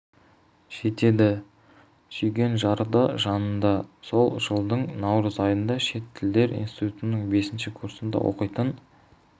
жетеді сүйген жары да жанында сол жылдың наурыз айында шет тілдер институтының бесінші курсында оқитын